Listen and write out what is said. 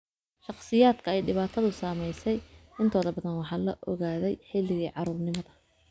Shakhsiyaadka ay dhibaatadu saameysey intooda badan waxaa la ogaadey xilligii carruurnimada.